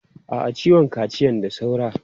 A'a, ciwon kaciyan da saura.